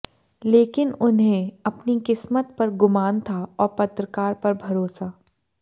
लेकिन उन्हें अपनी किस्मत पर गुमान था और पत्रकार पर भरोसा